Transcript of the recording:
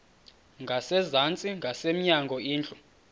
ngasezantsi ngasemnyango indlu